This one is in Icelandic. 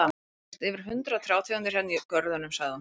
Það eru víst yfir hundrað trjátegundir hérna í görðunum, sagði hún.